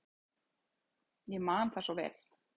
Ég man það svo vel.